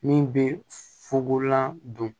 Min bɛ fugolan don